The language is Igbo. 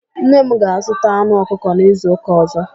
Nne m ga-azụta anụ ọkụkọ n'izuụka ọ̀zọ́.